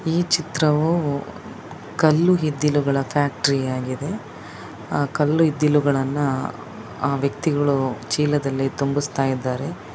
ಈ ಚಿತ್ರವೂ ಕಲ್ಲು ಇದ್ದಿಲುಗಳ ಫ್ಯಾಕ್ಟರಿ ಆಗಿದೆ ಕಲ್ಲು ಇದ್ದಿಲುಗಳನ್ನ ಆ ವ್ಯಕ್ತಿಗಳು ಚೀಲದಲ್ಲಿ ತುಂಬಿಸುತ್ತಿದ್ದಾರೆ.